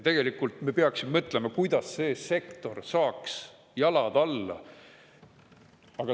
Tegelikult me peaksime mõtlema, kuidas see sektor saaks jalad alla.